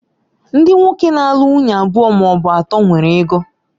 Ndị nwoke na-alụ nwunye abụọ ma ọ bụ atọ nwere ego